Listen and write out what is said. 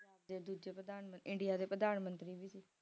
ਤੇ ਦੂਜੇ ਪ੍ਰਧਾਨ india ਦੇ ਪ੍ਰਧਾਨ ਮੰਤਰੀ ਵੀ ਸੀ